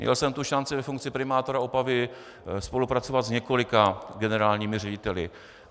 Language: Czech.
Měl jsem tu šanci ve funkci primátora Opavy spolupracovat s několika generálními řediteli.